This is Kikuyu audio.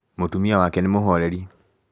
Mũtumia wake nĩ mũhoreri